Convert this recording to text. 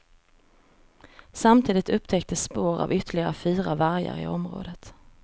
Samtidigt upptäcktes spår av ytterligare fyra vargar i området.